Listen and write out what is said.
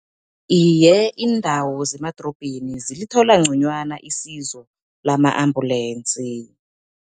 Iye, iindawo zemadorobheni zilithola nconywana isizo lama-ambulensi.